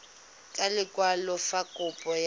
ka lekwalo fa kopo ya